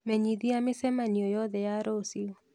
Menyithia mĩcemanio yothe ya rũciũ